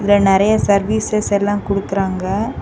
இதுல நிறைய சர்வீசஸ் எல்லா குடுக்குறாங்க.